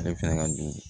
Ale fana ka don